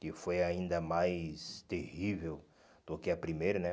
Que foi ainda mais terrível do que a primeira, né?